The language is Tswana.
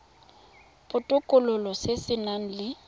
botokololo se se nang le